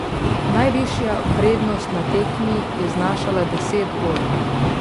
Najvišja prednost na tekmi je znašala deset golov.